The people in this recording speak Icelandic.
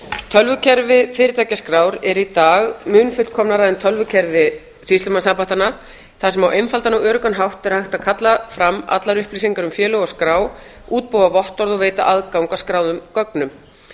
tölvukerfi fyrirtækjaskrár er í dag mun fullkomnara en tölvukerfi sýslumannsembættanna þar sem á einfaldan og öruggan hátt er hægt að kalla fram allar upplýsingar um félög og skrá útbúa vottorð og veita aðgang að skráðum gögnum